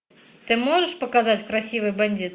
ты можешь показать красивый бандит